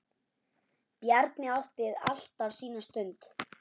Bjarni átti alltaf sína stund.